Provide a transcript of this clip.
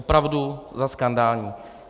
Opravdu za skandální.